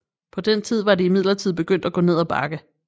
På den tid var det imidlertid begyndt at gå ned ad bakke